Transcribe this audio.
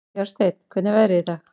Bjarnsteinn, hvernig er veðrið í dag?